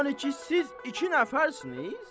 Yəni ki, siz iki nəfərsiniz?